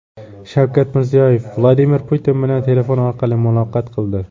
Shavkat Mirziyoyev Vladimir Putin bilan telefon orqali muloqot qildi .